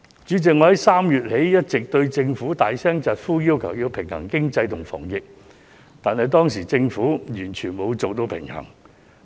主席，我自3月起一直對政府大聲疾呼，要求它平衡經濟和防疫，因為當時政府完全沒有做好平衡。